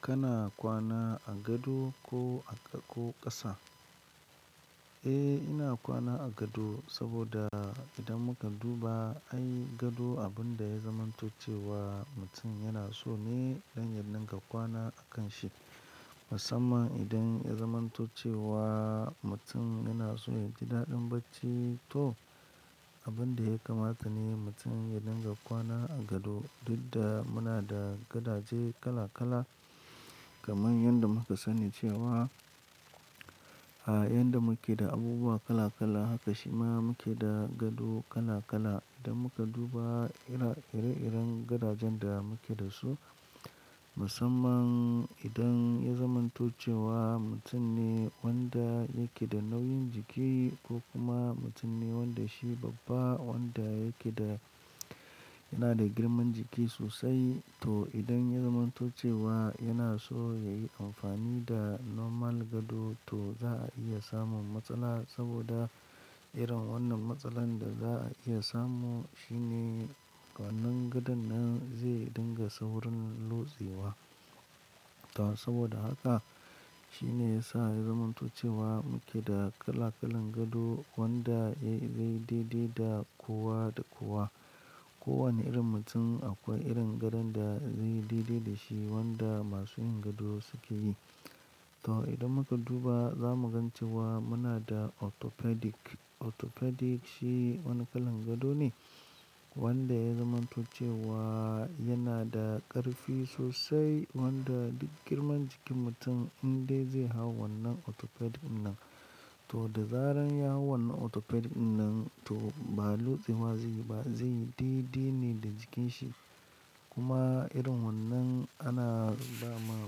Kana kwana a gado ko a ƙo ƙasa? Eh, ina kwana a gado saboda idan muka duba, ai gado abin da ya zamant0 ce wa mutum yana so ne dan ya dinga kwana a kan shi. Musamman idan ya zamanto ce wa mutum yana so ya ji daɗin bacci to abin da ya kamata ne mutum ya dinga kwana a gado. Dudda muna da gadaje kala kala kaman yanda muka sani cewa, a yanda muke da abubuwa kala kala haka shima muke da gado kala kala. Idan muka duba ira ire iren gadajen da muke da su, musamman idan ya zamanto ce wa mutum ne wanda yake da nauyin jiki ko kuma mutum ne wanda shi babba wanda yake da yana da girman jiki sosai to idan ya zamanto ce wa yana so ya yi amfani da normal gado to za a iya samun matsala saboda irin wannan matsalan da za a iya samu shine wannan gadon nan zai dinga saurin lotsewa. To saboda haka shine yasa ya zamanto ce wa muke da kala kalan gado wanda yayi daidai da kowa da kowa. Ko wane irin mutum akwai irin gadon da zai yi daidai da shi wanda masu yin gado suke yi. To idan muka duba, za mu gan cewa muna da orthopedic. Orthopedic shi wani kalan gado ne wanda ya zamanto ce wa yana da ƙarfi sosai wanda duk girman jikin mutum indai zai hau wannan orthopedic in nan to da zaran ya hau wannan orthopedic ɗinnan to ba lotsewa zai yi ba, zai yi daidai ne da jikin shi. Kuma irin wannan ana ba ma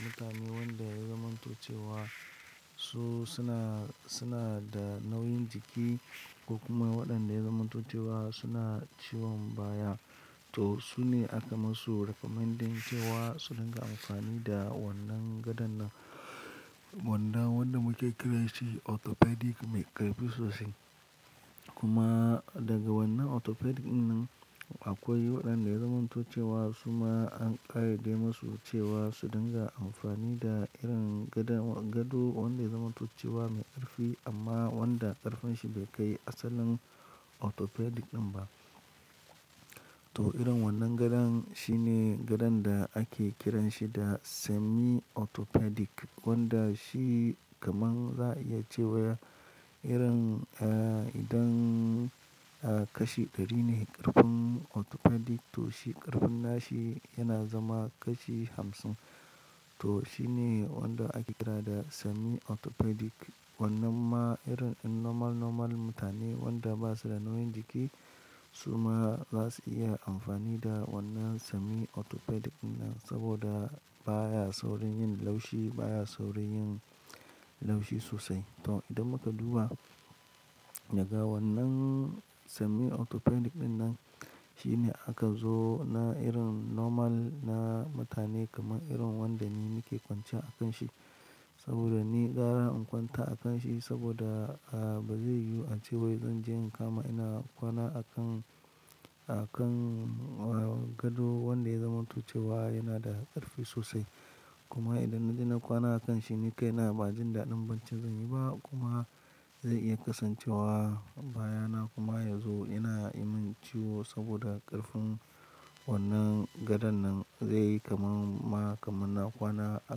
mutane wanda ya zamanto ce wa su suna, suna da nauyin jiki ko kuma waɗanda ya zamanto ce wa suna ciwon baya. To su ne aka masu recommendin cewa su dinga amfani da wannan gadon nan wanda wanda muke kiran shi orthopedic mai ƙarfi sosai. Kuma daga wannan orthopedic ɗinnan akwai waɗanda ya zamanto ce wa su ma an ƙayade masu cewa su dinga amfani da irin gadan gado wanda ya zamanto ce wa mai ƙarfi amma wanda ƙarfin shi bai kai asalin orthopedic ɗin ba. To irin wannan gadon shine gadon da ake kiran shi da semi orthopedic wanda shi kaman za a iya ce wa irin eh idan eh kashi ɗari ne ƙarfin orthopedic to shi ƙarfin nashi yana zama kashi hamsin. To shi ne wanda ake kira da semi orthopedic. Wannan ma irin normal, normal mutane wanda ba su da nauyin jiki su ma za su iya amfani da wannan semi orthopedic ɗinnan saboda baya saurin yin laushi, baya saurin yin laushi sosai. To idan muka duba daga wannan semi orthopedic ɗinnan shine aka zo na irin normal na mutane kaman irin wanda ni nike kwanci ya a kan shi saboda ni gara in kwanta a kan shi saboda a ba zai yiwu a ce wai zan je in kama ina kwana a kan, a kan gado wanda ya zamanto ce wa yana da ƙarfi sosai. Kuma idan na je na kwana a kan shi ni kai na ba jin daɗin baccin zan yi ba kuma zai iya kasancewa baya na kuma yazo yana yi min ciwo saboda ƙarfin wannan gadon nan zai yi kaman ma kaman na kwana a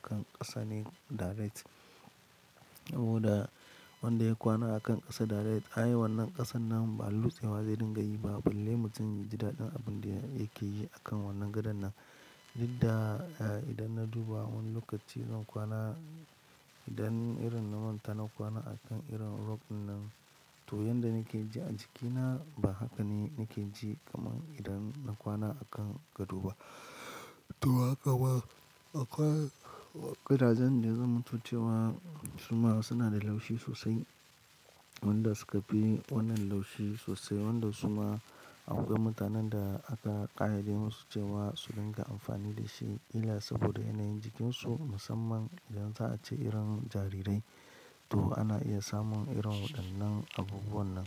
kan ƙasa ne direct. Saboda wanda ya kwana a kan ƙasa direct ai wannan ƙasan nan ba lutsewa zai dinga yi ba balle mutum ya ji daɗin abin da yake yi a kan wannan gadon nan. Duk da idan na duba wani lokaci zan kwana idan irin na manta na kwana a kan irin rug ɗinnan to yanda nake ji a jikina ba haka ne nake ji kaman idan na kwana a kan gado ba. To haka ma akwai gadajen da ya zamanto ce wa su ma suna da laushi sosai wanda suka fi wannan laushi sosai wanda su ma a akwai mutanen da aka ƙayade masu cewa su dinga amfani da shi kila saboda yanayin jikinsu musamman idan za a ce irin jarirai. To ana iya samun irin waɗannan abubuwan nan.